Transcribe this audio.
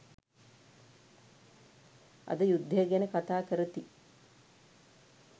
අද යුද්දය ගැන කතාකරති